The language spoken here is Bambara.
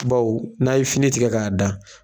Baw n'a ye fini tigɛ k'a da